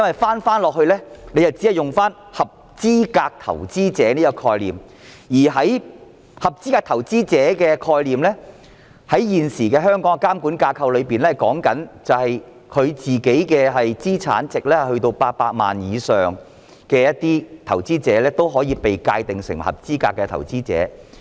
倒過來看，政府只利用了"合資格投資者"的概念，而這概念在香港現行的監管架構中訂明了個人資產值達到800萬以上的投資者，均可被界定成合資格投資者。